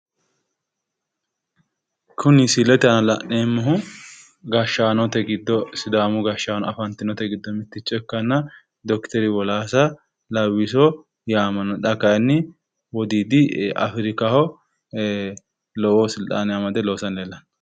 Kuni misilete aana la'neemmohu Sidaamu gashshaano afantinote giddo mitto ikkanna Dr.Wolassa Lawwiso yaamamanmo xa kayinni wodiidi Afirikira jawa silxaane afire loosanni afamanno.